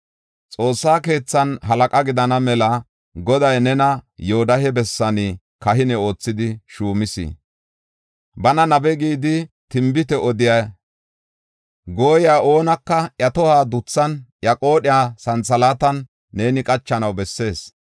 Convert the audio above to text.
‘Xoossa keethan halaqa gidana mela Goday nena Yoodahe bessan kahine oothidi shuumis. Bana nabe gidi tinbite odiya gooya oonaka iya tohuwa duthan, iya qoodhiya santhalaatan neeni qachanaw bessees.